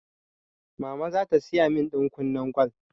Mama zata siya min ɗankunnen gwal